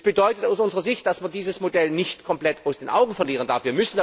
Das bedeutet aus unserer Sicht, dass man dieses Modell nicht komplett aus den Augen verlieren darf.